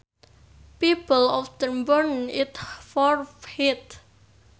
People often burn it for heat